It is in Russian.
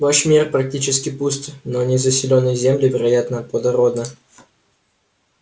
ваш мир практически пуст но незаселенные земли вероятно плодородны